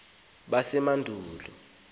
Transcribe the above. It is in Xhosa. sasemqanduli